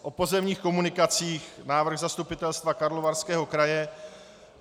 O pozemních komunikacích, návrh Zastupitelstva Karlovarského kraje.